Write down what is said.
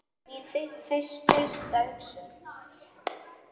Það er mín fyrsta hugsun.